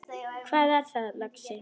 Hvað er það, lagsi?